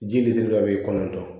Ji litiri duuru dɔ bɛ kɔnɔntɔn